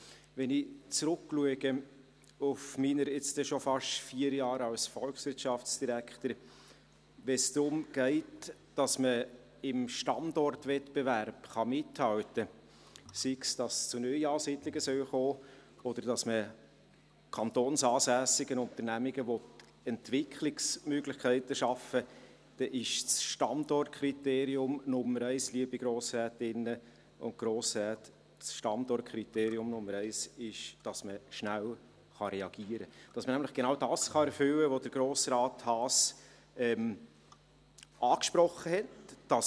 Wenn ich auf meine jetzt schon beinahe vier Jahre als Volkswirtschaftsdirektor zurückschaue: Wenn es darum geht, dass man im Standortwettbewerb mithalten kann, sei es, dass es zu Neuansiedlungen kommen soll oder dass man für kantonsansässige Unternehmungen Entwicklungsmöglichkeiten schaffen will, dann ist das Standortkriterium Nummer 1, dass man schnell reagieren kann, damit man nämlich genau das erfüllen kann, was Grossrat Haas angesprochen hat: